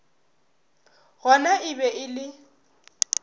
gona e be e le